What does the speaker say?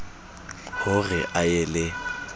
ho re a ye le